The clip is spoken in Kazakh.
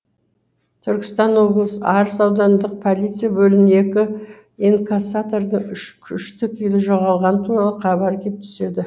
түркістан облысы арыс аудандық полиция бөліміне екі инкассатордың үш күйшті жоғалғаны туралы хабар кеп түседі